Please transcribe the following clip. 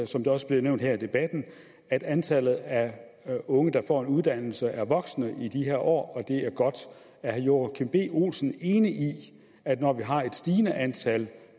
som det også blev nævnt her i debatten at antallet af unge der får en uddannelse er voksende i de her år og det er godt er herre joachim b olsen enig i at når vi har et stigende antal